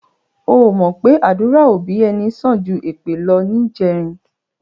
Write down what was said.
O ò mọ̀ pé àdúrà òbí ẹni sàn ju èpè lọ níjẹrin?